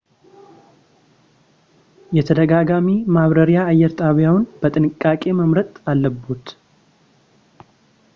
የተደጋጋሚ መብራሪያ አየር ጣቢያዎን በጥንቃቄ መምረጥ አለብዎት